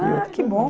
Ah, que bom.